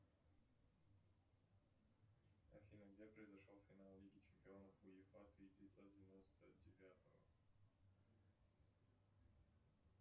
афина где произошел финал лиги чемпионов уефа тысяча девятьсот девяносто девятого